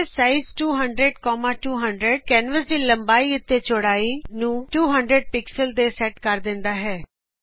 canvas size 200200 canvas ਦੀ ਲੰਬਾਈ ਅਤੇ ਚੌੜਾਈ ਨੂੰ 200 ਪਿਕਸਲ ਤੇ ਸੈਟ ਕਰ ਦਿੰਦਾ ਹੈ